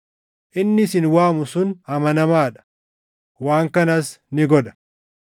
Inni isin waamu sun amanamaa dha; waan kanas ni godha.